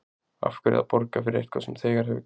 Af hverju að borga fyrir eitthvað sem þegar hefur gerst?